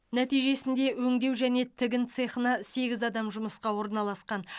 нәтижесінде өңдеу және тігін цехына сегіз адам жұмысқа орналасқан